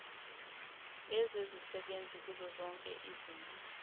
ezisebenzi kuzozoke izinhla